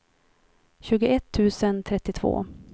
tjugoett tusen trettiotvå